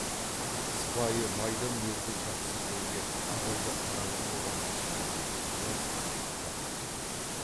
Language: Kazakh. сыпайы майда мінезді жақсы жеңге абайды қараңғы қораның ішінде жетектеп ап қақпаға әкелді де